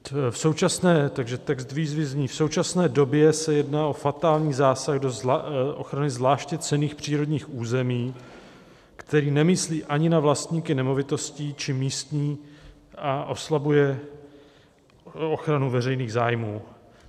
"V současné době se jedná o fatální zásah do ochrany zvláště cenných přírodních území, který nemyslí ani na vlastníky nemovitostí či místní a oslabuje ochranu veřejných zájmů.